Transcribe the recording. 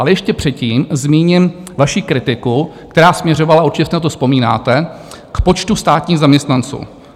Ale ještě předtím zmíním vaši kritiku, která směřovala, určitě si na to vzpomínáte, k počtu státních zaměstnanců.